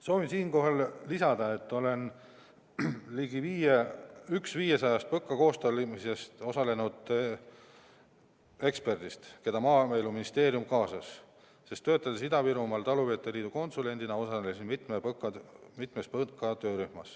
Soovin siinkohal märkida, et olen üks 500-st PõKa koostamisel osalenud eksperdist, keda Maaeluministeerium kaasas, sest töötades Ida-Virumaa Talupidajate Liidu konsulendina, osalesin ma mitmes töörühmas.